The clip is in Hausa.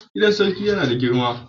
Gidan Sarki yana da girma.